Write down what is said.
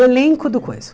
O elenco do coisa.